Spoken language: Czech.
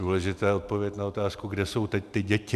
Důležitá je odpověď na otázku, kde jsou teď ty děti.